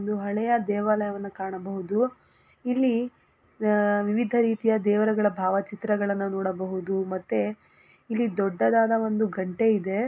ಒಂದು ಹಳೆಯ ದೇವಾಲಯವನ್ನು ಕಾಣಬಹುದು ಇಲ್ಲಿ ಅ ವಿವಿಧ ರೀತಿಯ ದೇವರ ಭಾವಚಿತ್ರಗಳನ್ನು ನೋಡಬಹುದು ಮತ್ತು ಇಲ್ಲಿ ದೊಡ್ಡದಾದ ಒಂದು ಗಂಟೆ ಇದೆ.